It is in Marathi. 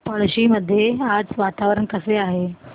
पळशी मध्ये आज वातावरण कसे आहे